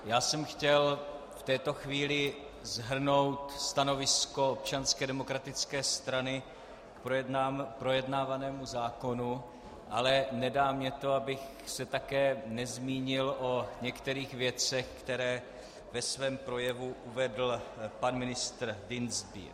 Já jsem chtěl v této chvíli shrnout stanovisko Občanské demokratické strany k projednávanému zákonu, ale nedá mi to, abych se také nezmínil o některých věcech, které ve svém projevu uvedl pan ministr Dienstbier.